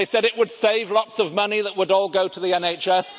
They said it would save lots of money that would all go to the NHS.